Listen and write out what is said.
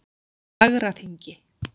Fagraþingi